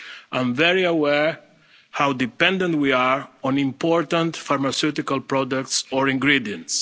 products. I'm very aware of how dependent we are on important pharmaceutical products or